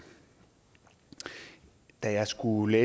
da jeg skulle